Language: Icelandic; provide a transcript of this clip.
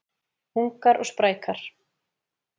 Ungar og sprækar